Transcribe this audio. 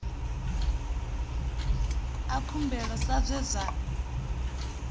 a khumbelo sa zwe zwa